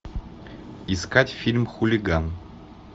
искать фильм хулиган